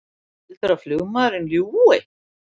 Heldurðu að flugmaðurinn ljúgi!